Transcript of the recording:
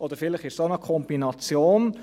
Oder vielleicht ist es auch eine Kombination.